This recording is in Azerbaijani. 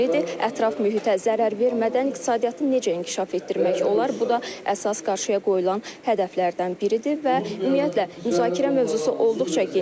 Ətraf mühitə zərər vermədən iqtisadiyyatı necə inkişaf etdirmək olar, bu da əsas qarşıya qoyulan hədəflərdən biridir və ümumiyyətlə müzakirə mövzusu olduqca genişdir.